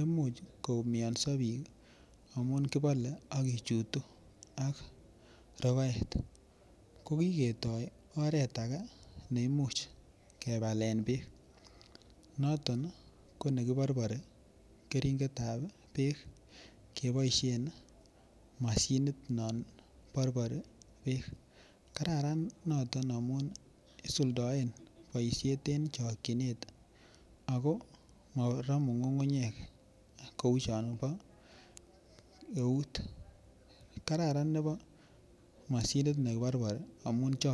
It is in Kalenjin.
imuch koumionso bik amun kibole ak kochutu ak rogoet ko kikoto oret age neimuch kobelen beek noton ko nekiborbori keringetab beek keboishen moshinit non borbori beek kararan noton amun isuldoen boishet en chikinet ako moromu ngungunyek kou Chon bo eut kararan nebo moshinit neborbori amun chokin.